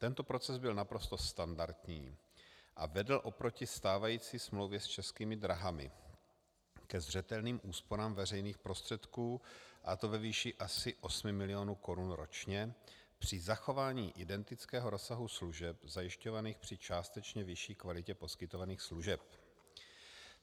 Tento proces byl naprosto standardní a vedl oproti stávající smlouvě s Českými dráhami ke zřetelným úsporám veřejných prostředků, a to ve výši asi 8 mil. korun ročně při zachování identického rozsahu služeb zajišťovaných při částečně vyšší kvalitě poskytovaných služeb.